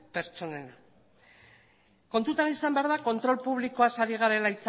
pertsonena kontutan izan behar da kontrol publikoaz ari garela